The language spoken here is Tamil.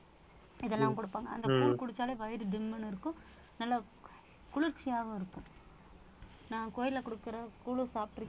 இதெல்லாம் கொடுப்பாங்க அந்த கூழ் குடிச்சாலே வயிறு திம்முன்னு இருக்கும் நல்லா கு~ குளிர்ச்சியாவும் இருக்கும் நான் கோயில்ல கொடுக்கிற கூழ் சாப்பிட்ருக்~